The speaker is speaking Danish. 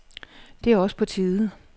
Det er også på tide.